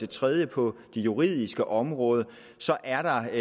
tredje på det juridiske område er der